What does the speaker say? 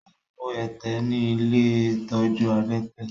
Ó kó ẹ̀tẹ̀ ní ilé ìtọ́jú adẹ́tẹ̀.